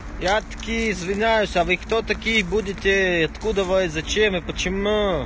я таки извиняюсь а вы кто такие будете откуда и зачем и почему